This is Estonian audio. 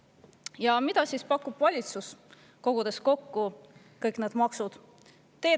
Ja mida siis pakub valitsus, kogudes kokku kõik need maksud?